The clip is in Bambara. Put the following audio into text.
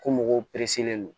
Ko mɔgɔw pereselen don